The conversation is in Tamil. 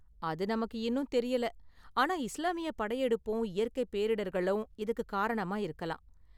அது நமக்கு இன்னும் தெரியல, ஆனா இஸ்லாமிய படையெடுப்பும் இயற்கை பேரிடர்களும் இதுக்கு காரணமா இருக்கலாம்.